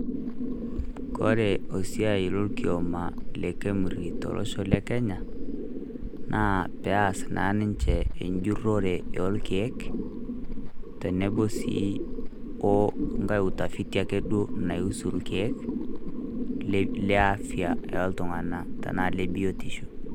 Kore osiai lokioma le KEMRI tolosho le Kenya, naa peas naa ninche ejurrore orkeek, tenebo si onkae utafiti ake duo nausu irkeek, le afya oltung'anak. Tenaa le biotisho.